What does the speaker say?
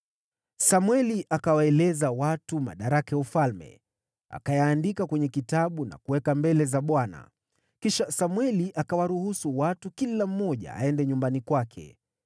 Samweli akawaeleza watu madaraka ya ufalme. Akayaandika kwenye kitabu na kuweka mbele za Bwana . Kisha Samweli akawaruhusu watu, kila mmoja aende nyumbani kwake.